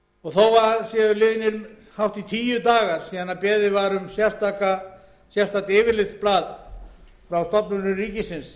þó að það séu liðnir hátt í tíu dagar síðan beðið var um sérstakt yfirlitsblað frá stofnunum ríkisins